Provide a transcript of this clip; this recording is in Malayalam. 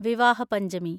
വിവാഹ പഞ്ചമി